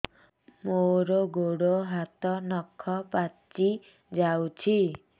ମୋର ଗୋଡ଼ ହାତ ନଖ ପାଚି ଯାଉଛି